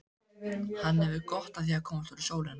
Hann hefur gott af að komast út í sólina.